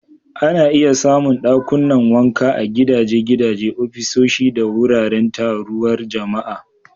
Ana iya samun dakunan wanka a gidaje, gidaje, ofisoshi, da wuraren taruwar jama'a.